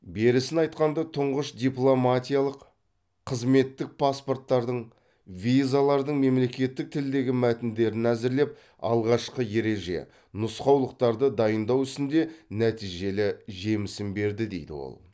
берісін айтқанда тұңғыш дипломатиялық қызметтік паспорттардың визалардың мемлекеттік тілдегі мәтіндерін әзірлеп алғашқы ереже нұсқаулықтарды дайындау ісінде нәтижелі жемісін берді дейді ол